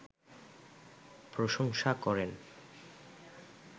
প্রশংসা করেন